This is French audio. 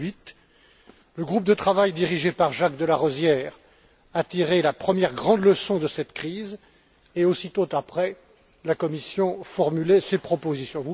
2008. Le groupe de travail dirigé par Jacques de Larosière a tiré la première grande leçon de cette crise et, aussitôt après, la Commission formulait ses propositions.